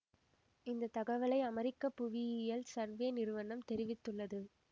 இந்த தகவலை அமெரிக்க புவியியல் சர்வே நிறுவனம் தெரிவித்துள்ளது